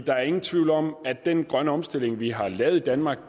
der er ingen tvivl om at den grønne omstilling vi har lavet i danmark